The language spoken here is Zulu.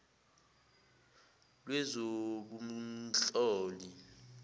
lwezobunhloli